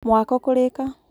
mwako kũrika.